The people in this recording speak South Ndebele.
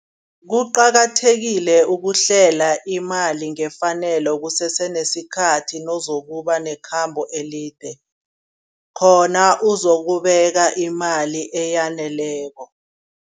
Kuqakathekile ukuhlela imali ngefanelo kusese nesikhathi, nozokuba nekhambo elide. Khona uzokubeka imali eyaneleko.